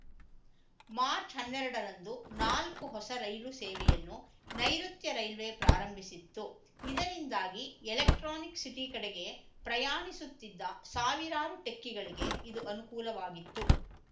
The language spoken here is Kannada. ಮಾರ್ಚ್ಹನ್ನೆರಡರಂದು ನಾಲ್ಕು ಹೊಸ ರೈಲು ಸೇವೆಯನ್ನು ನೈಋುತ್ಯ ರೈಲ್ವೆ ಪ್ರಾರಂಭಿಸಿತ್ತು ಇದರಿಂದಾಗಿ ಎಲೆಕ್ಟ್ರಾನಿಕ್‌ ಸಿಟಿ ಕಡೆಗೆ ಪ್ರಯಾಣಿಸುತ್ತಿದ್ದ ಸಾವಿರಾರು ಟೆಕ್ಕಿಗಳಿಗೆ ಇದು ಅನುಕೂಲವಾಗಿತ್ತು